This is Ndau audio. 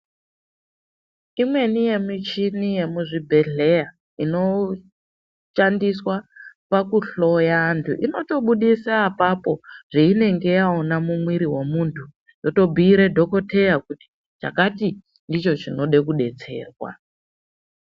Imweni yemichini yemizvibhedhleya inoshandiswa pakuhloya antu inotobudisa apapo zvainenge yaona mumwiri wemuntu yotobhiire dhokoteya kuti chakati ndicho chinode kudetserwa.